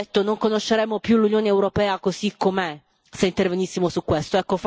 Qualcuno ha detto che non conosceremo più l'Unione europea così com'è, se intervenissimo su questo.